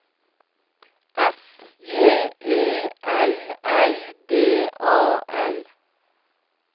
F J E L L D A L